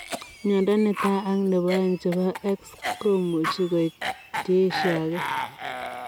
Miondo netai ak nepo oeng chepo X komuchii koek cheesio key.